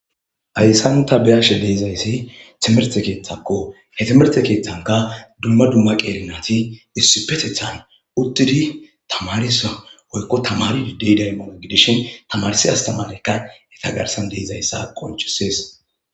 Hayssan ta beyashe de'izayssi timerte keeththakko he timerte keeththanka dumma dumma qeelinati issi petethan uttidi tamarisa woykko tamari diddey daybona gidishin tamarsi astamaleykka he tagarsan deizayssa qonchisees